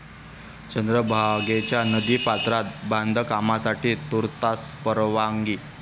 चंद्रभागेच्या नदी पात्रात बांधकामासाठी तुर्तास परवानगी